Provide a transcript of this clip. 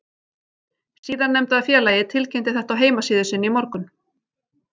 Síðarnefnda félagið tilkynnti þetta á heimasíðu sinni í morgun.